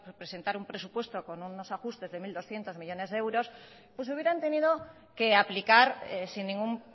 presentar un presupuesto con unos ajustes de mil doscientos millónes de euros pues hubieran tenido que aplicar sin ningún